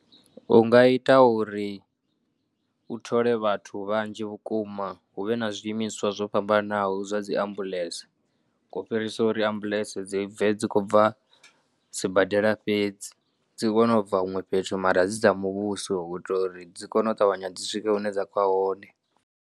U nga ita uri u thole vhathu vhanzhi vhukuma hu vhe na zwiimiswa zwo fhambanaho zwa dzi ambulance, u fhirisa uri ambulance dzi bve dzi kho bva sibadela fhedzi, dzi kone u bva huṅwe fhethu mara dzi dza muvhuso u itela uri dzi kone u ṱavhanya dzi swike hune dza khou ya hone.